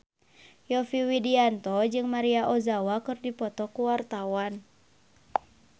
Yovie Widianto jeung Maria Ozawa keur dipoto ku wartawan